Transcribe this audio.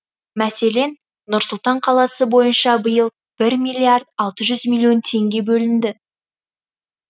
мәселен нұр сұлтан қаласы бойынша биыл бір миллиард алты жүз миллион теңге бөлінді